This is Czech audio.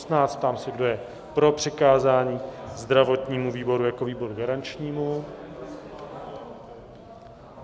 Ptám se, kdo je pro přikázání zdravotnímu výboru jako výboru garančnímu?